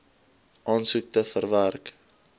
aansoek te verwerk